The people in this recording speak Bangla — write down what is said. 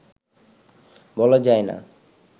বলা যায় না